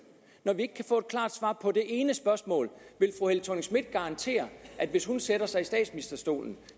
når vi ikke kan få et klart svar på det ene spørgsmål vil fru helle thorning schmidt garantere at hvis hun sætter sig i statsministerstolen